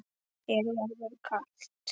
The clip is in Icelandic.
Þér verður kalt